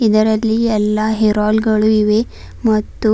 ಇದರಲ್ಲಿ ಎಲ್ಲಾ hair oil ಗಳು ಇವೆ ಮತ್ತು--